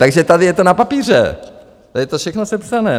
Takže tady je to na papíře, tady je to všechno sepsané.